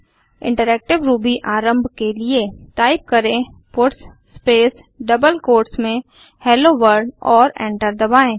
interactive Ruby आरम्भ के लिए टाइप करें पट्स स्पेस डबल कोट्स में हेलो वर्ल्ड और एंटर दबाएँ